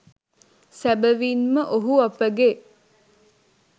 සැබවින්ම ඔහු අපගේ